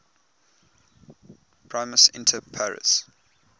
primus inter pares